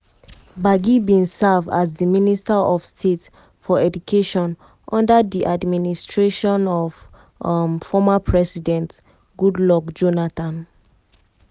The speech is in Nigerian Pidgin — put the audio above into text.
gbagi bin serve as di minister of state for education under di administration of um former president goodluck um jonathan.